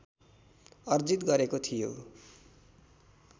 अर्जित गरेको थियो